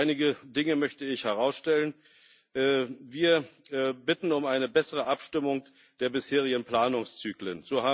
Einige Dinge möchte ich herausstellen Wir bitten um eine bessere Abstimmung der bisherigen Planungszyklen.